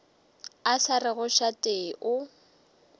a sa rego šate o